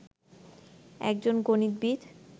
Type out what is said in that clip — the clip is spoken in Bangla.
একজন গণিতবিদ